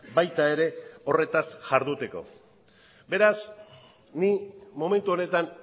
baita ere horretaz jarduteko beraz ni momentu honetan